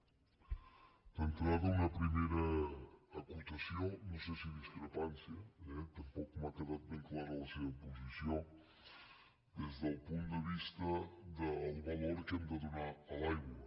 d’entrada una primera acotació no sé si discrepància eh tampoc m’ha quedat ben clara la seva posició des del punt de vista del valor que hem de donar a l’aigua